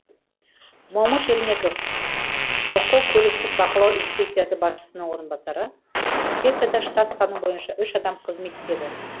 момыш ермеков бқо көліктік бақылау инспекциясы басшысының орынбасары инспекцияда штат саны бойынша үш адам қызмет етеді